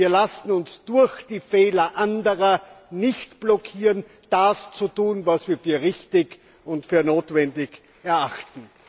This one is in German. Wir lassen uns durch die Fehler anderer nicht blockieren, das zu tun, was wir für richtig und für notwendig erachten.